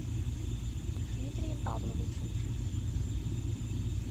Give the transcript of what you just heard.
дмитрием павловичем